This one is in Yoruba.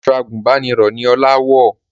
Aṣọ àgùnbánirọ̀ ni Ọlá wọ̀